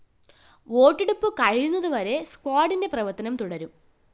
വോട്ടെടുപ്പ് കഴിയുന്നതുവരെ സ്‌ക്വാഡിന്റെ പ്രവര്‍ത്തനം തുടരും